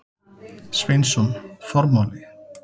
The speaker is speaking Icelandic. Sveinsson: Formáli.